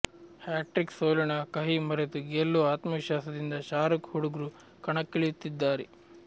hat trick ಸೋಲಿನ ಕಹಿ ಮರೆತು ಗೆಲ್ಲುವ ಆತ್ಮವಿಶ್ವಾಸದಿಂದ ಶಾರುಖ್ ಹುಡುಗ್ರು ಕಣಕ್ಕಿಳಿಯುತ್ತಿದ್ದಾರೆ